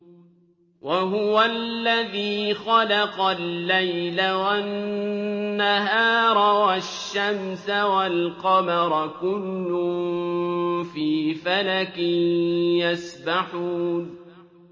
وَهُوَ الَّذِي خَلَقَ اللَّيْلَ وَالنَّهَارَ وَالشَّمْسَ وَالْقَمَرَ ۖ كُلٌّ فِي فَلَكٍ يَسْبَحُونَ